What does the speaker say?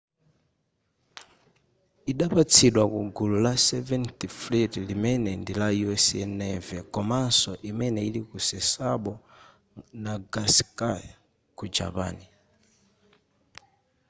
idapatsidwa kugulu la seventh fleet limene ndila u.s. navy komanso imene ili ku sasebo nagasaki ku japan